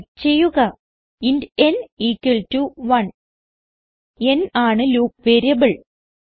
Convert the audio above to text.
type ചെയ്യുക int n equal to 1 n ആണ് loop variable